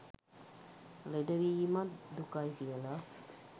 ලෙඩවීමත් දුකයි කියලා.